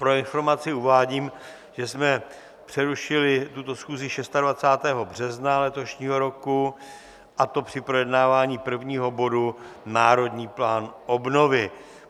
Pro informaci uvádím, že jsme přerušili tuto schůzi 26. března letošního roku, a to při projednávání prvního bodu Národní plán obnovy.